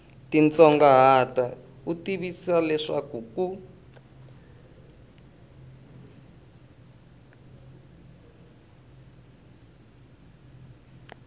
titsongahata u tivisiwa leswaku ku